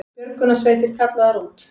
Björgunarsveitir kallaðar út